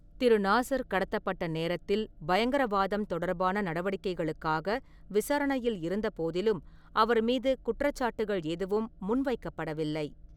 திரு. Nasr கடத்தப்பட்ட நேரத்தில் பயங்கரவாதம் தொடர்பான நடவடிக்கைகளுக்காக விசாரணையில் இருந்த போதிலும், அவர் மீது குற்றச்சாட்டுகள் எதுவும் முன்வைக்கப்படவில்லை.